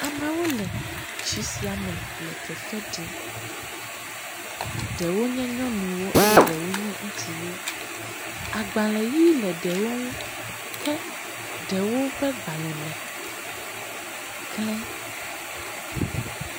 Amewo le tsi sia me le fefe ɖim. Ɖewo nye nyɔnuwo eye ɖewo nye ŋutsuwo. Agbalẽʋi le ɖewo ŋu ke ɖewo ƒe gbalẽme klẽ.